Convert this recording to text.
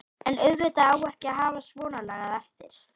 En auðvitað á ekki að hafa svonalagað eftir.